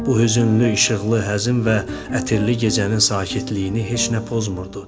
Bu hüznlü işıqlı, həzin və ətirli gecənin sakitliyini heç nə pozmurdu.